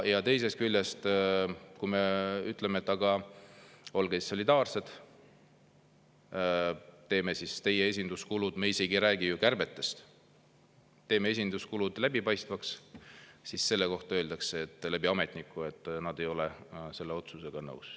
Ja teisest küljest, kui me ütleme, et aga olge siis solidaarsed, teeme teie esinduskulud läbipaistvaks – me isegi ei räägi ju kärbetest –, siis selle kohta öeldakse ametniku läbi, et nad ei ole selle otsusega nõus.